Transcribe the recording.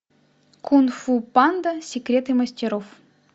кунг фу панда секреты мастеров